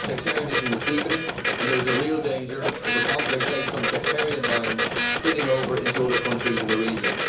Sectarianism is deepening and there is a real danger of a conflict based on sectarian lines spilling over into other countries in the region.